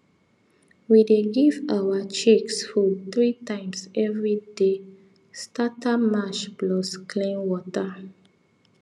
we dey give our chicks food three times everyday starter mash plus clean water